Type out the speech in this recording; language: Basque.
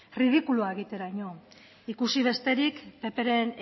ridikulua egiteraino ikusi besterik ppren